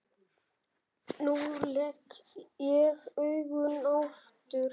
Nú legg ég augun aftur.